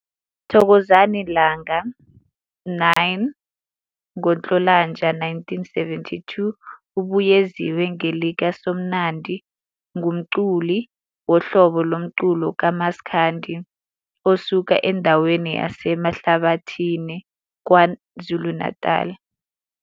Thokozani Langa, 9 ngoNhlolanja 1972 - ubye ziwe ngelika Somnandi ngumculi wohlobo lomculo ka"Maskandi" osuka endweni yaseMahlabathini, Kwa-Zulu Natal.